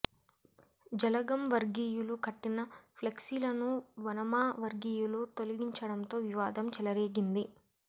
జలగం వర్గీయులు కట్టిన ఫ్లెక్సీలను వనమా వర్గీయులు తొలగించడంతో వివాదం చెలరేగింది